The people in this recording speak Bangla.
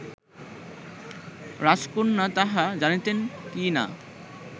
রাজকন্যা তাহা জানিতেন কি না